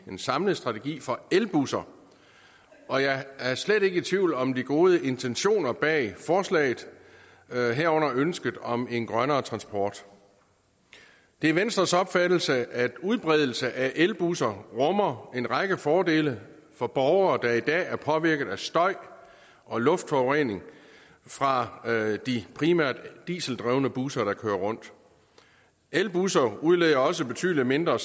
en samlet strategi for elbusser og jeg er slet ikke i tvivl om de gode intentioner bag forslaget herunder ønsket om en grønnere transport det er venstres opfattelse at udbredelsen af elbusser rummer en række fordele for borgere der i dag er påvirket af støj og luftforurening fra de primært dieseldrevne busser der kører rundt elbusser udleder også betydelig mindre